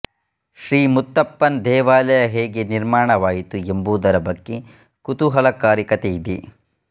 ಶ್ರೀ ಮುತ್ತಪ್ಪನ್ ದೇವಾಲಯ ಹೇಗೆ ನಿರ್ಮಾಣವಾಯಿತು ಎಂಬುದರ ಬಗ್ಗೆ ಕುತೂಹಲಕಾರಿ ಕಥೆಯಿದೆ